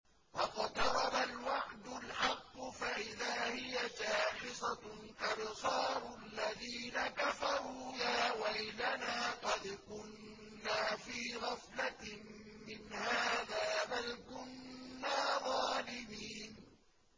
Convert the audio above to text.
وَاقْتَرَبَ الْوَعْدُ الْحَقُّ فَإِذَا هِيَ شَاخِصَةٌ أَبْصَارُ الَّذِينَ كَفَرُوا يَا وَيْلَنَا قَدْ كُنَّا فِي غَفْلَةٍ مِّنْ هَٰذَا بَلْ كُنَّا ظَالِمِينَ